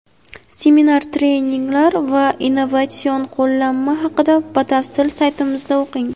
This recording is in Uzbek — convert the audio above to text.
Seminar-treninglar va innovatsion qo‘llanma haqida batafsil saytimizda o‘qing.